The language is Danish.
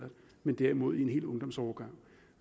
men derimod en hel ungdomsårgang